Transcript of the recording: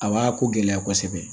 A b'a ko gɛlɛya kosɛbɛ